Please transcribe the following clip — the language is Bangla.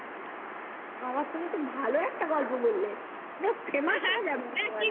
বাবা তুমি তো ভালো একটা গল্প বললে তুমি তো famous হওয়া যাবে একেবারে